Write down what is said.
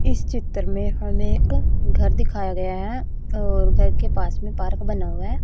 इस चित्र में हमें एक घर दिखाया गया है और घर के पास में पार्क बना हुआ है।